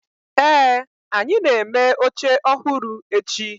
ee, anyi na-eme oche ohuru echi